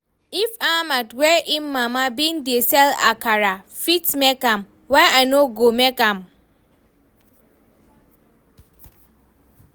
If Ahmed wey im mama bin dey sell akara fit make am, why I no go make am?